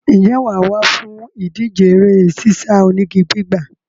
Ǹjẹ́ wà á wá fún ìdíje eré sísá onígi gbígbà?